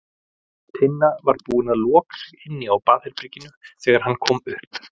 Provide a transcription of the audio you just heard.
Tinna var búin að loka sig inni á baðherberginu þegar hann kom upp.